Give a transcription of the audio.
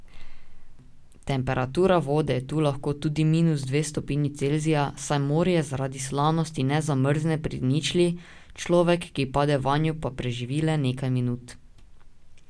Temperatura vode je tu lahko tudi minus dve stopinji Celzija, saj morje zaradi slanosti ne zamrzne pri ničli, človek, ki pade vanj, pa preživi le nekaj minut.